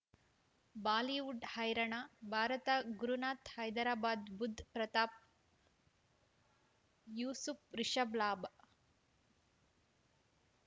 Bollywood ಹೈರಾಣ ಭಾರತ ಗುರುನಾಥ ಹೈದರಾಬಾದ್ ಬುಧ್ ಪ್ರತಾಪ್ ಯೂಸುಫ್ ರಿಷಬ್ ಲಾಭ್